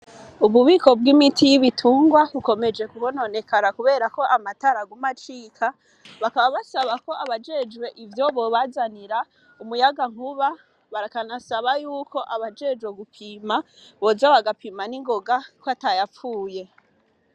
Ububiko bw'imiti y'ibitungwa, bukomeje kononekara, kubera ko amatara aguma acika, bakaba basaba ko abajejwe ivyo, bobazanira umuyagankuba bakaba banasaba yuko abajejwe gupima boza bagapima ningonga ko atayapfuye.